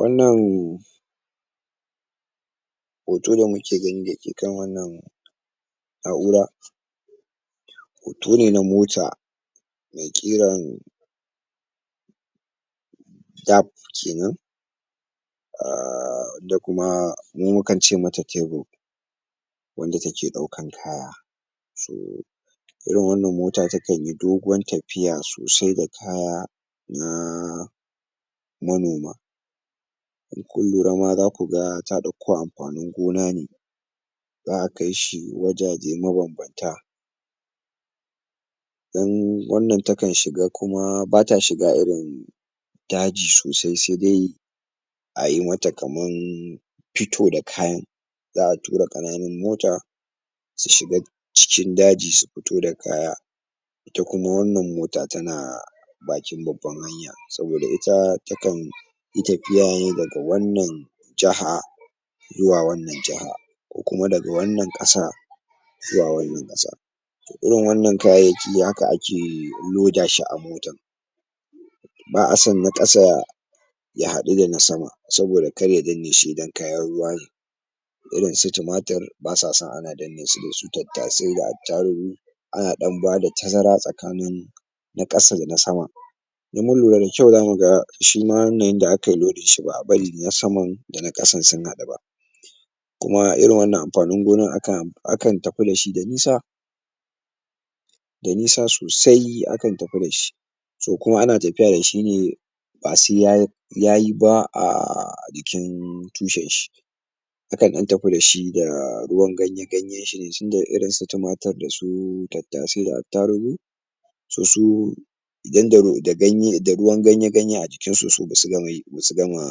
wannan hoto da muke gani da ke kan wannan na'ura hoto ne na mota mai ƙiran dab kenan amma kuma mu mukan ce mata kebil wanda take ɗaukan kaya sai irin wannan mota takanyi doguwar tafiya sosai da kaya na manoma in kun lura ma zaku ga ta ɗauko amfanin gona ne za'a kaishi wajaje mabanbanta don wannan takan shiga kuma bata shiga irin daji sosai sai dai ayi mata kaman fito da kayan za'a tura ƙananun mota su shiga cikin daji su fito da kaya ita kuma wannan mota tana bakin babban hanya saboda ita takan yi tafiya ne daga wannan jaha zuwa wannan jaha ko kuma daga wannan ƙasa zuwa wannan ƙasa irin wannan kayayyaki haka ake loda shi a mota ba'asan na ƙasa ya haɗu da na sama saboda kar ya danne shi idan kayan ruwa ne irin su tumatur basa son ana danne su da su tattasai da attarugu ana ɗan bada tazara tsakanin na ƙasa da na saman? shima wannan yanda akayi lodin ba'a bari na saman da na ƙasan sun haɗu ba kuma irin wannan amfanin gonan akan tafi da shi da nisa da nisa sosai akan tafi da shi to kuma ana tafiya da shi ne ba sai yayi yayi ba a jikin tushen shi akan ɗan tafi da shi da ruwan ganye ganyen shi ne tunda irin su tumatur da tattasai da attarugu su su idan da ru da ganye da ruwan ganye ganye a jikin su basu gama yi ba su gama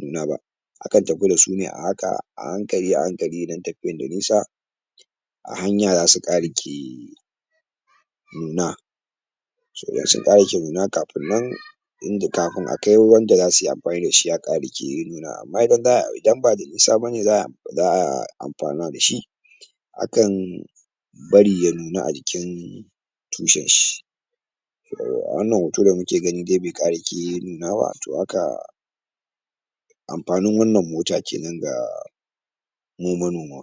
nuna ba akan tafi da su ne a haka a hankali a hankali idan tafiyan da nisa a hanya zasu ƙarake nuna sauran su ƙarake nuna kafin nan inda kafin akai wanda zasuyi amfani da shi ya ƙarake nuna amma fa za idan bada nisa bane za to za'a amfana da shi akan bari ya nuna a jikin tushen shi wannan hoto da da kake gani ban ƙarake nuna ba to haka amfanin wannan mota kenan da mu manoma